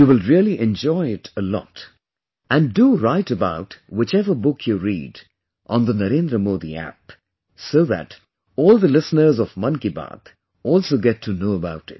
You will really enjoy it a lot and do write about whichever book you read on the NarendraModi App so that all the listeners of Mann Ki Baat' also get to know about it